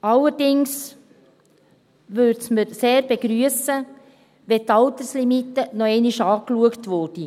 Allerdings würden wir es sehr begrüssen, wenn die Alterslimite noch einmal angeschaut würde.